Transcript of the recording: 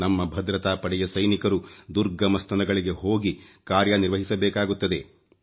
ನಮ್ಮ ಭದ್ರತಾ ಪಡೆಯ ಸೈನಿಕರು ದುರ್ಗಮ ಸ್ಥಳಗಳಿಗೆ ಹೋಗಿ ಕಾರ್ಯ ನಿರ್ವಹಿಸಬೇಕಾಗುತ್ತದೆ